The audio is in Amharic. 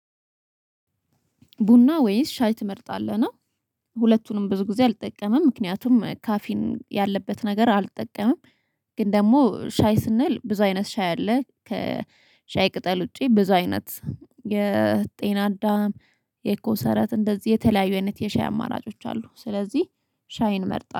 ቡና ወይስ ሻይ ትመርጣለህ ነው? ሁለቱንም ብዙ ጊዜ አልጠቀምም ምክንያቱም ካፊን ያለበት ነገር አልጠቀምም። ግን ደግሞ ሻይ ስንል ብዙ አይነት ሻይ አለ ከሻይ ቅጠል ውጪ ብዙ አይነት የጤና አዳም የኮሰረት እንደዚህ የተለያዩ አይነት የሻይ አማራጮች አሉ። ስለዚህ ሻይን እመርጣለሁ